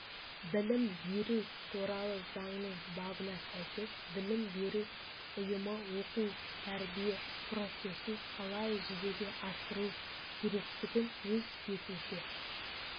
білім беру туралы заңның бабына сәйкес білім беру ұйымыоқу-тәрбие процесін қалай жүзеге асыру керектігін өз бетінше